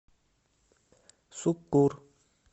суккур